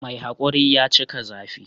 Mai haƙuri ya cika zafi